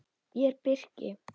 Ég er birki.